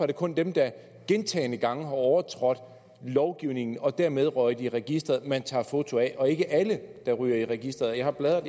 det kun dem der gentagne gange har overtrådt lovgivningen og dermed er røget i registeret man tager foto af og ikke alle der ryger i registeret jeg har bladret